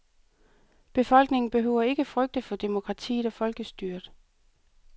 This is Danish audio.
Befolkningen behøver ikke frygte for demokratiet og folkestyret.